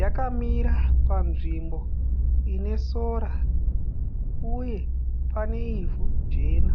Yakamira panzvimbo ine sora uye pane ivhu jena.